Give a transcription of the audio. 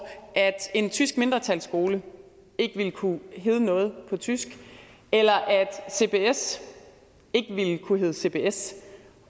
at en tysk mindretalsskole ikke ville kunne hedde noget på tysk eller at cbs ikke ville kunne hedde cbs